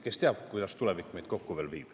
Kes teab, kuidas tulevik meid veel kokku viib.